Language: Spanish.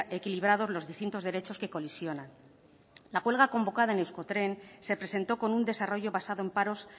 equilibrados los distintos derechos que colisionan la huelga convocada en euskotren se presentó con un desarrollo basado en paros